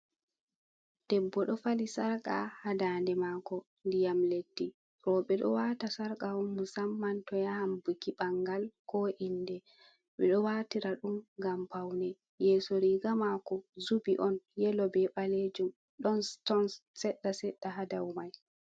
Debbo ɗo fali sarka ha ndande mako diyam leddi rooɓe ɗo waata sarka on musamman to yahan buki ɓangal ko inde ɓeɗo watira ɗum ngam paune. Yeso riga mako zubi on yelo be ɓalejum ɗon siton seɗɗa seɗɗa ha dau mai.